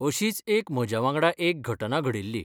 अशींच एक म्हज्या वांगडा एक घटना घडिल्ली.